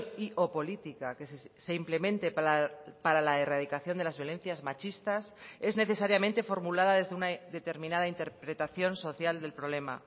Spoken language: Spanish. y o política que se implemente para la erradicación de las violencias machistas es necesariamente formulada desde una determinada interpretación social del problema